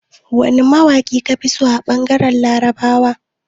Wane mawaƙi ka fi so a ɓangaren Larabawa?